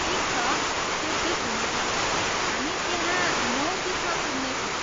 ठिक छ, त्यो ठिक हुनेछ, हामी त्यहाँ नौ तिसमा पुग्नेछौँ।